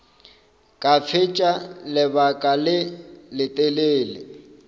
ka fetša lebaka le letelele